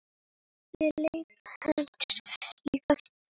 Ég leita hans líka.